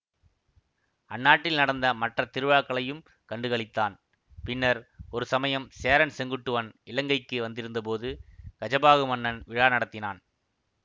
அந்நாட்டில் நடந்த மற்ற திருவிழாக்களையும் கண்டு களித்தான் பின்னர் ஒருசமயம் சேரன் செங்குட்டுவன் இலங்கைக்கு வந்திருந்தபோது கஜபாகு மன்னன் விழா நடத்தினான்